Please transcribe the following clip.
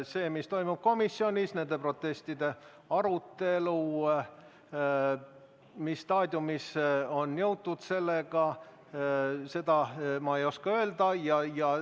Seda, mis toimub komisjonis ja mis staadiumisse on nende protestide aruteluga jõutud, ma ei oska öelda.